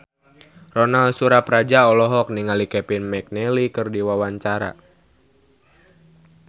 Ronal Surapradja olohok ningali Kevin McNally keur diwawancara